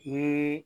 Ni